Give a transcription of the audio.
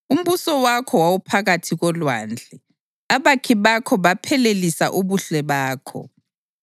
Umbuso wakho wawuphakathi kolwandle; abakhi bakho baphelelisa ubuhle bakho.